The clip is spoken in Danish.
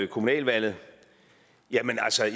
kommunalvalget